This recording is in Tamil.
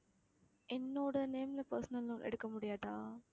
என்னோட name ல personal loan எடுக்க முடியாதா